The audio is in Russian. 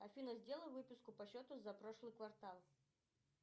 афина сделай выписку по счету за прошлый квартал